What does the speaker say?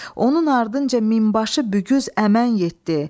Onun ardınca minbaşı Bügüz Əmən getdi.